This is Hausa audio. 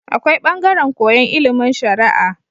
Akwai bangaran koyan ilimin sharaa